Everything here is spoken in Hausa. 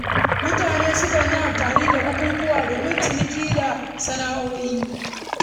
Mutane sukan yi amfani da bukukuwa domin ciniki da gabatar da sana’o’in su.